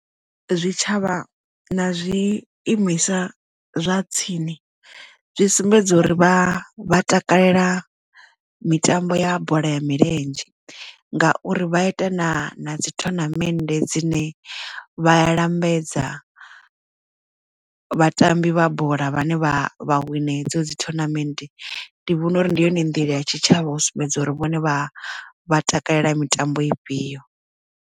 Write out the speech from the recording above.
Zwitshavha na zwi imisa zwa tsini zwi sumbedza uri vha vha takalela mitambo ya bola ya milenzhe ngauri vha ita na na dzi thonamende dzine vha ya lambedza vhatambi vha bola vhane vha vha wina hedzo dzi thonamennde ndi vhona uri ndi yone nḓila ya tshitshavha u sumbedza uri vhone vha vha takalela mitambo ifhio.